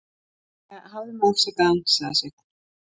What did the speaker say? Jæja, hafðu mig afsakaðan, sagði Sveinn.